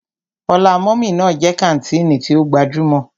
Ọlá mummy ná jẹ́ kàńtìnì tí ó gbajúmọ̀.